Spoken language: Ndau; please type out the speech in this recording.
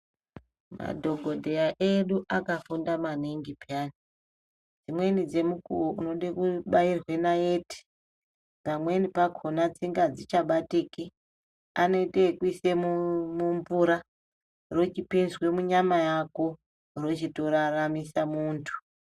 Madhokodheya edu akafunda maningi peyani, imweni dzemukuwo unode kobairwe nayeti pamweni pakona tsinga adzichabatiki anoite yekuise mumvura rochipinzwe munyama yako rochitoraramisa muntu.